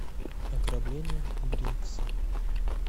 ограбление бринкса